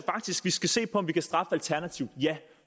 vi skal se på om vi kan straffe alternativt ja